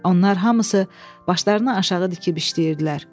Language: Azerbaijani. Onlar hamısı başlarını aşağı dikib işləyirdilər.